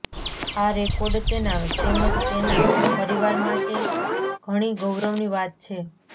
આ રેકોર્ડ તેના તેમજ તેના પરિવાર માટે ઘણી ગૌરવની વાત છે